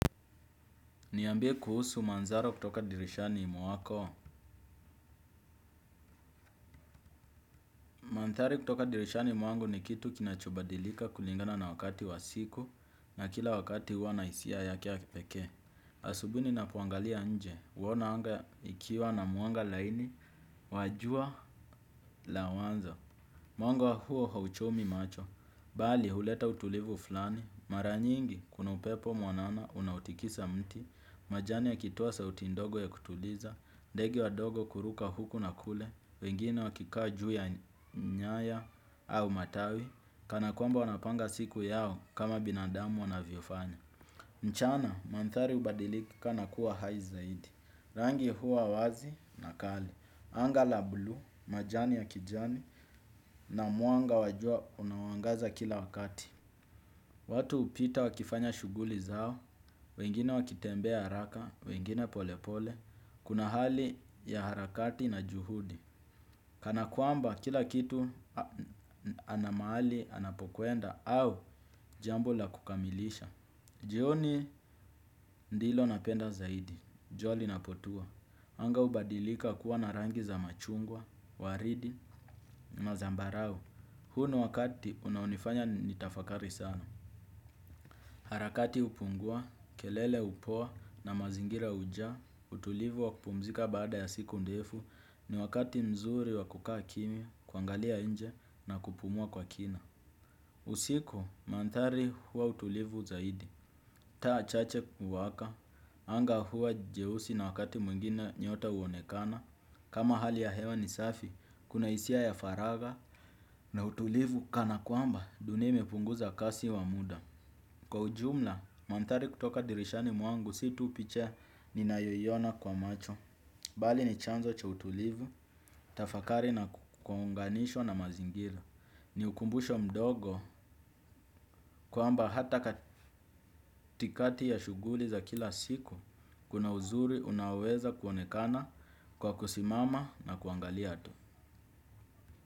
Niambie kuhusu manzaro kutoka dirishani mwako. Mantari kutoka dirishani mwangu ni kitu kinachobadilika kulingana na wakati wasiku na kila wakati wana isia yake ya kipeke. Asubui nina poangalia nje, wona anga ikiwa na mwanga laini, wajua la wanza. Mwanga huo hauchomi macho, bali huleta utulivu fulani, mara nyingi kuna upepo mwanana unaotikisa mti, wengine wakikaa juu ya nyaya au matawi kana kwamba wanapanga siku yao kama binadamu wanaviofanya mchana, mantari ubadilika na kuwa hai zaidi. Rangi hua wazi na kali. Anga la blu, majani ya kijani na muanga wa jua unawangaza kila wakati. Watu upita wakifanya shuguli zao. Wengine wakitembea haraka, wengine polepole. Kuna hali ya harakati na juhudi. Kana kuamba kila kitu ana mahali anapokuenda au jambo la kukamilisha. Jioni ndilo napenda zaidi, jua linapotua. Anga ubadilika kuwa na rangi za machungwa, waridi, mazambarau. Huni wakati unaonifanya nitafakari sana. Harakati upungua, kelele upoa na mazingira uja, utulivu wa kupumzika baada ya siku ndefu. Ni wakati mzuri wa kukaa kimia, kwangalia nje na kupumua kwa kina. Usiku, mantari huwa utulivu zaidi. Taa chache kuwaka, anga huwa jehusi na wakati muingine nyota uonekana. Kama hali ya hewa ni safi, kuna isia ya faraga. Na utulivu kana kwamba, dunia imepunguza kasi wa muda. Kwa ujumla, mantari kutoka dirishani mwangu, situ picha ninayoyona kwa macho bali ni chanzo cha utulivu, tafakari na kukunganisho na mazingira ni ukumbusho mdogo kwamba hata katikati ya shuguli za kila siku kuna uzuri unaweza kuonekana kwa kusimama na kuangalia tu.